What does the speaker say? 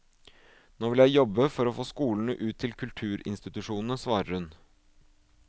Nå vil jeg jobbe for å få skolene ut til kulturinstitusjonene, svarer hun.